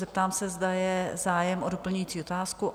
Zeptám se, zda je zájem o doplňující otázku?